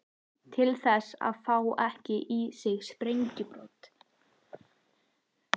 Til þess að fá ekki í sig sprengjubrot.